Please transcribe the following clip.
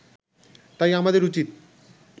তাই আমাদের উচিত